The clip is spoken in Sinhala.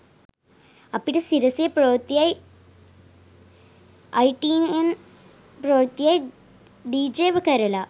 අපිට සිරසෙ ප්‍රවෘත්තියි අයිටීඑන් ප්‍රවෘත්තියි ඩීජේ කරල